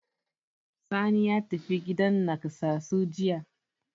Sani ya tafi gidan naƙasassu jiya.